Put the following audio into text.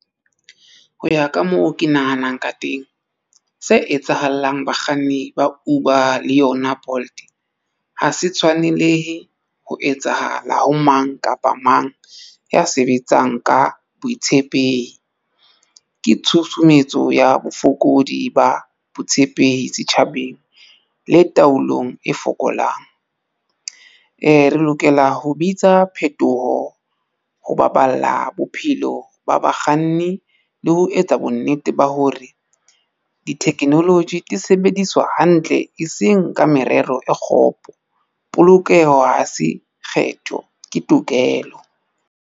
Ho ya ka moo ke nahanang ka teng se etsahalang bakganni ba Uber le yona Bolt ha se tshwanelehe ho etsahala ho mang kapa mang ya sebetsang ka boitshepehi. Ke tshusumetso ya bofokodi ba botshepehi tjhabeng le taolong e fokolang. Re lokela ho bitsa phetoho ho baballa bophelo ba bakganni le ho etsa bonnete ba hore di technology di sebediswa hantle e seng ka merero e kgopo. Polokeho ha se kgetho ke tokelo.